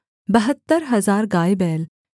बहत्तर हजार गाय बैल